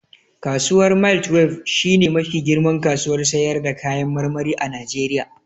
Kasuwar mile twelbe shi ne mafi girman kasuwar sayar da kayan marmari a Najeriya